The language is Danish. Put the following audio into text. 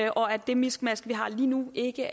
og at det miskmask der er lige nu ikke